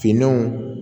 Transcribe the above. Finnanw